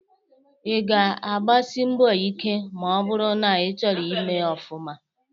Ị ga-agbasi mbọ ike ma ọ bụrụ na ịchọrọ ịme ọfuma.